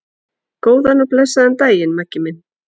Góðan og blessaðan daginn, Maggi minn.